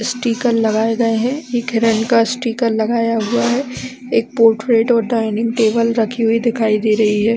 Sticker लगाए गए है हिरण का स्टीकर लगाया हुआ है एक पोर्टेड डाइनिंग टेबल रखी हुई दिखाई दे रही है।